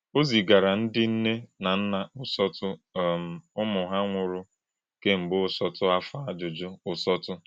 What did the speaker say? Ọ zì̄gárà̄ ndị́ nnè̄ nà nnà̄ ụ́sọ́tụ̀ um Ụ́mụ̀ hà̄ nwụrụ̄ kem̄gbè̄ ụ́tọ́tụ̀ àfọ̄ àjụ́jụ́ ụ́sọ́tụ̀.